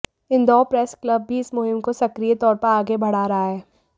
Indore press club भी इस मुहिम को सक्रिय तौर पर आगे बढ़ा रहा है